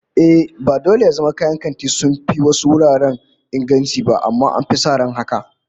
Ehh, ba dole ya zama kayan babban kanti sun fi wasu wuraren inganci ba, amma an fi sa ran haka